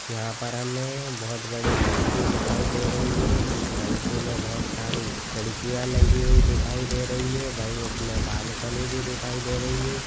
यहाँ पर हमे बहुत बड़ी मल्टी दिखाई दे रही है जिस मल्टी में बहुत सारी खिड़कियां लगी हुई दिखाई दे रही है वही उस में बालकनी भी दिखाई दे रही है।